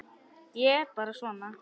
Ég er bara svona.